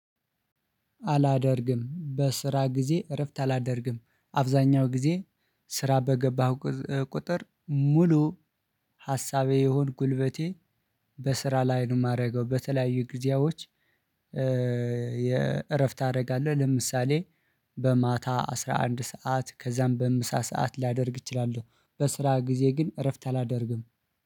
አላደርግም በስራ ጊዜ እረፍት አላደርግም። አብዛኛው ጊዜ ስራ በገባህ ቁጥር ሙሉ ሀሳቤ የሁን ጉልበቴ በስራ ላይ ነው የማደርገው በተለያያዩ ግዜያዎች የእረፍት ታደርጋለህ ለምሳሌ በማታ አስራ አንድ ሰዓት ከዛም በምሳ ሰዓት ላደርግ እችላለሁ በስራ ግዜ ግን እረፍት አላደርግም